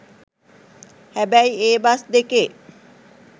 හැබැයි ඒ බස් දෙකේ